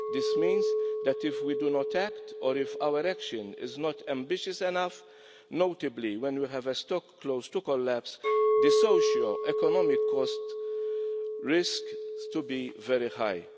This means that if we do not act or if our action is not ambitious enough, notably when we have a stock close to collapse, the socio-economic cost risks being very high.